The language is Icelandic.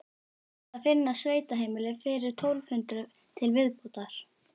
Það þurfti að finna sveitaheimili fyrir tólf hundruð til viðbótar.